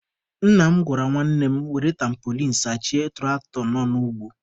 Nna m gwara nwanne m were tampolin sachie tụraktọ nọ n'ugbo.